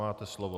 Máte slovo.